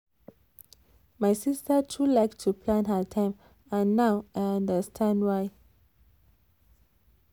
my sister too like to plan her time and now i understand why.